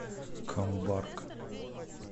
камбарка